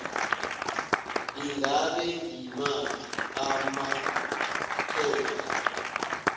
ingabe ngimaphi amaphepha